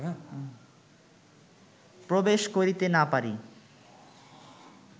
প্রবেশ করিতে না পারি